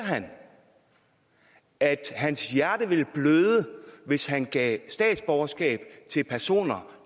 han at hans hjerte ville bløde hvis han gav statsborgerskab til personer